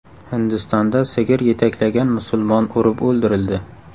Hindistonda sigir yetaklagan musulmon urib o‘ldirildi.